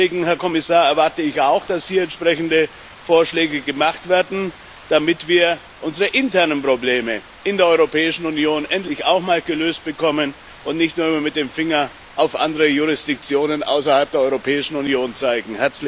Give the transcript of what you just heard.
Deswegen, Herr Kommissar, erwarte ich auch, dass hier entsprechende Vorschläge gemacht werden, damit wir unsere internen Probleme in der Europäischen Union endlich auch mal gelöst bekommen und nicht immer nur mit dem Finger auf andere Jurisdiktionen außerhalb der Europäischen Union zeigen.